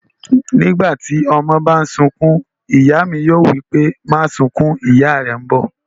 Nígbàtí ọmọ bá n sunkún, ìyá mí yóò wípé, 'máa sunkún, ìyá rẹ̀ n bọ̀'